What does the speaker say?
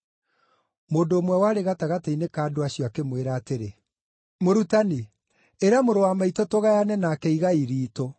Mũndũ ũmwe warĩ gatagatĩ-inĩ ka andũ acio akĩmwĩra atĩrĩ, “Mũrutani, ĩra mũrũ wa maitũ tũgayane nake igai riitũ.”